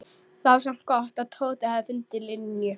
Það var samt gott að Tóti hafði fundið Linju.